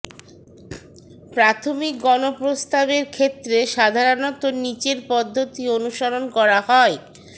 প্রাথমিক গণপ্রস্তাবের ক্ষেত্রে সাধারণত নিচের পদ্ধতি অনুসরণ করা হয়ঃ